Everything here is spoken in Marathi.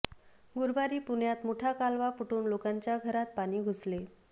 गुरूवारी पुण्यात मुठा कालवा फुटून लोकांच्या घरात पाणी घुसले